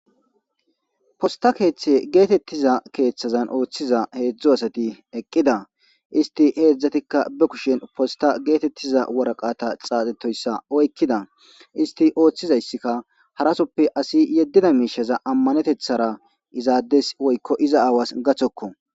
Posta keethe geetethiza keethan oothiza heedzdzu asati eqida isthi heedzatikka be kushen posta geetethiza woraqata xaafethoyssa oykida isthi oothidayssikka harasoppe asi yeddida miishshaza ammanetethaara iza addes woykko iza aawas gathokko.